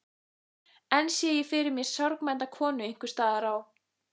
Enn sé ég fyrir mér sorgmædda konu einhvers staðar á